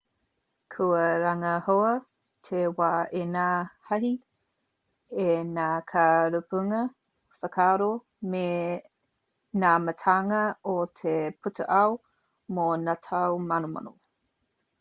kua rangahaua te wā e ngā hāhi e ngā kai rapunga whakaaro me ngā mātanga o te pūtaiao mō ngā tau manomano